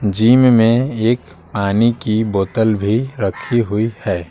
Gym में एक पानी की बोतल भी रखी हुई है।